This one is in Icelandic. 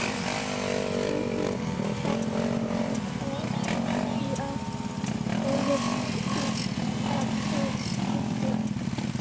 HINSTA KVEÐJA Elsku afi Kiddi.